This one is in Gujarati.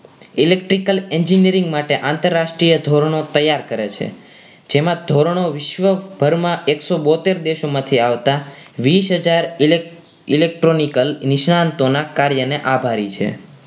electrical engineering માટે આંતરરાષ્ટ્રીય ધોરણો તૈયાર કરે છે જેમાં ધોરણો વિશ્વભરમાં એકસો બોતેર દેશોમાંથી આવતા વીસ હજાર electro electronical નિષ્ણાતોના કાર્યને આભારી છે